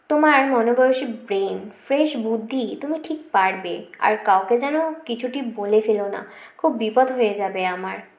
তোমার মন বয়সী brain fresh বুদ্ধি তুমি ঠিক পারবে আর কাউকে যেন কিছুটি বলে ফেলো না খুব বিপদ হয়ে যাবে